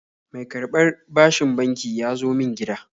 Mai karɓar bashin banki ya zo min gida